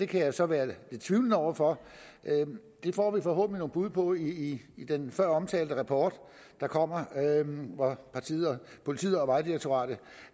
kan jeg så være lidt tvivlende over for det får vi forhåbentlig nogle bud på i den føromtalte rapport der kommer politiet og vejdirektoratet